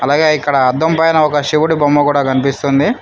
అలాగే ఇక్కడ అద్దంపైన శివుడి బొమ్మ కూడా కనిపిస్తుంది.